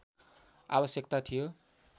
आवश्यकता थियो